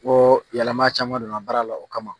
Ko yɛlɛma caman donna baara la o kama.